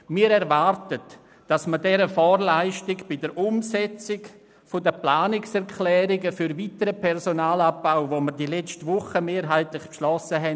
Wir erwarten, dass man dieser Vorleistung Rechnung trägt bei der Umsetzung der Planungserklärungen für einen weiteren Personalabbau, den wir letzte Woche mehrheitlich beschlossen haben.